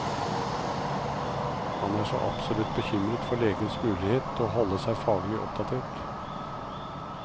Han er så absolutt bekymret for legenes mulighet til å holde seg faglig oppdatert.